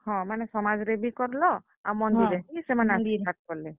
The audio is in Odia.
ହଁ, ମାନେ ସମାଜରେ ବି କଲ, ଆର୍ ମନ୍ଦିରେ ବି ସେମାନେ କଲେ।